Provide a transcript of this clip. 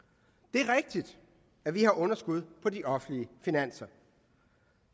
det er rigtigt at vi har underskud på de offentlige finanser